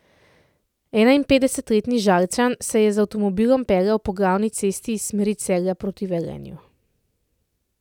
Enainpetdesetletni Žalčan se je z avtomobilom peljal po glavni cesti iz smeri Celja proti Velenju.